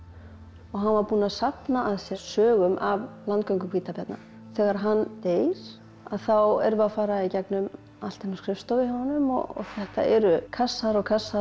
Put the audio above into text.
og hann var búinn að safna að sér sögum af landgöngu hvítabjarna þegar hann deyr þá erum við að fara í gegnum allt inni á skrifstofu hjá honum og þetta eru kassar og kassar og